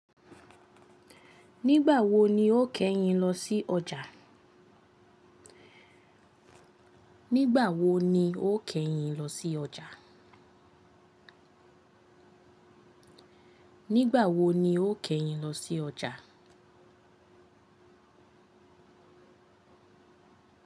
Nígbà wo ni o kẹ́ yín lọ sí ọjà? Nigba wo ni o kẹyin lọsi ọja? Nígbà wo ni ó kẹ́yìn lọ sí ọjà?